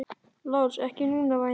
LÁRUS: Ekki núna, væni minn.